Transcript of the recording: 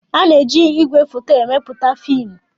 A na-eji igwefoto emepụta fiimu.